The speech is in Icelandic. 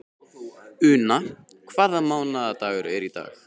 Una, hvaða mánaðardagur er í dag?